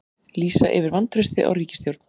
Lýsa yfir vantrausti á ríkisstjórn